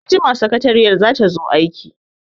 Anjima sakariyar za ta zo aiki.